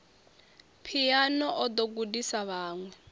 phiano o ḓo gudisa vhaṅwe